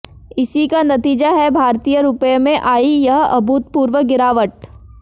इसी का नतीजा है भारतीय रुपये में आयी यह अभूतपूर्व गिरावट